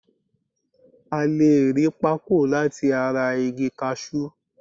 A le ri Pako lati ara igi kashu